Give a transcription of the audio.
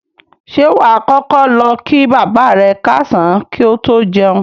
Ṣé wà á kọ́kọ́ lọ kí bàbá rẹ káàsán kí o tó jẹun?